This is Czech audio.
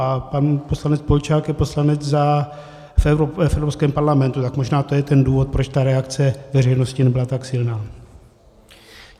A pan poslanec Polčák je poslanec v Evropském parlamentu, tak možná to je ten důvod, proč ta reakce veřejnosti nebyla tak silná.